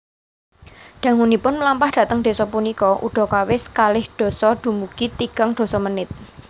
Dangunipun mlampah dhateng desa punika udakawis kalih dasa dumugi tigang dasa menit